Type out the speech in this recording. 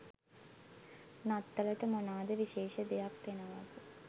නත්තලට මොනාද විශේෂ දෙයක් දෙනවද